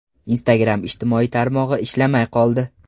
Instagram ijtimoiy tarmog‘i ishlamay qoldi.